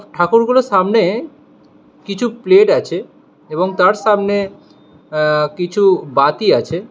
ঠাকুরগুলোর সামনে কিছু প্লেট আছে এবং তার সামনে আ্য কিছু বাতি আছে।